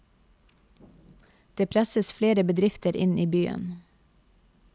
Det presses flere bedrifter inn i byen.